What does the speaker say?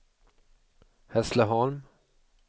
Hässleholm